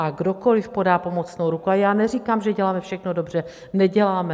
A kdokoliv podá pomocnou ruku, a já neříkám, že děláme všechno dobře - neděláme.